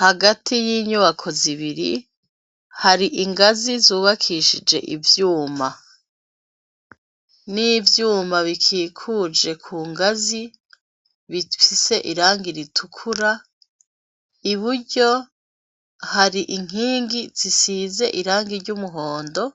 Hagati y'inyubako zibiri hari ingazi zubakishije ivyuma n'ivyuma bikikuje ku ngazi bifise iranga ritukura i buryo hari inkingi zisize iranga iry' umuhondo o